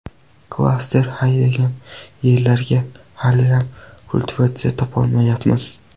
Klaster haydagan yerlarga haliyam kultivatsiya topolmayapmiz.